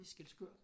Skælskør